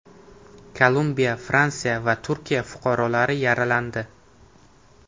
Kolumbiya, Fransiya va Turkiya fuqarolari yaralandi.